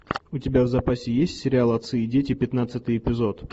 у тебя в запасе есть сериал отцы и дети пятнадцатый эпизод